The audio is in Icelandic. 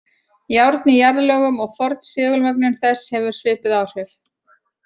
Járn í jarðlögum og forn segulmögnun þess hefur svipuð áhrif.